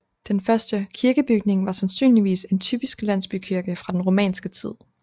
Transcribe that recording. Den første kirkebygning var sandsynligvis en typisk landsbykirke fra den romanske tid